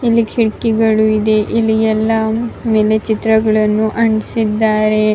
ಇಲ್ಲಿ ಕಿಟಕಿಗಳು ಇದೆ ಅಲ್ಲಿ ಎಲ್ಲ ಎಲೆ ಚಿತ್ರಗಳನ್ನು ಅಂಟಿಸಿದ್ದಾರೆ.